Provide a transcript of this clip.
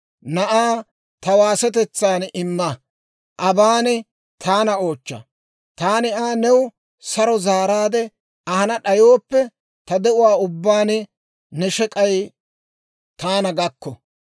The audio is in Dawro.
Na'aa ta waasetetsaan imma; aban taana oochcha; taani Aa new saro zaaraadde ahana d'ayooppe, ta de'uwaa ubbaan ne shek'ay taana gakko!